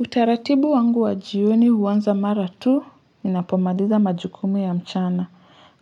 Utaratibu wangu wa jioni huanza mara tu, ninapomaliza majukumu ya mchana.